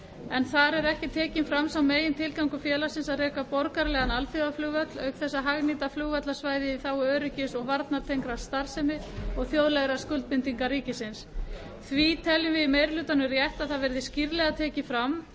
en þar er ekki tekinn fram sá megintilgangur félagsins að reka borgaralegan alþjóðaflugvöll auk þess að hagnýta flugvallarsvæðið í þágu öryggis og varnartengdrar starfsemi og þjóðlegra skuldbindinga ríkisins telur meiri hlutinn rétt að það verði skýrlega tekið fram